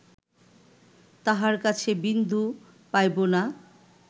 তাঁহার কাছে বিন্দু পাইব না